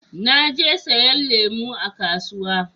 Na je siyan lemu a kasuwa